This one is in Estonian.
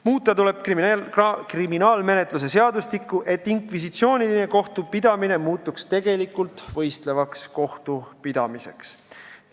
Muuta tuleb kriminaalmenetluse seadustikku, et inkvisitsiooniline kohtupidamine muutuks tegelikult võistlevaks kohtupidamiseks.